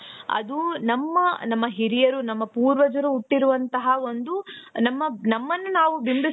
ಅದು ನಮ್ಮ ನಮ್ಮ ಹಿರಿಯರು ನಮ್ಮ ಪೂರ್ವಜರು ಉಟ್ಟಿರುವಂತಹ ಒಂದು ನಮ್ಮ ನಮ್ಮನ್ನ ನಾವು ಬಿಂಬಿಸಿ.